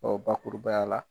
bakurubaya la.